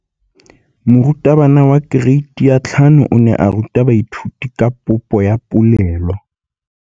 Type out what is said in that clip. Moratabana wa kereiti ya 5 o ne a ruta baithuti ka popô ya polelô.